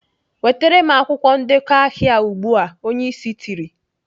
"Wetere m akwụkwọ ndekọ ahịa ugbu a!" Onye Ịsị tiri.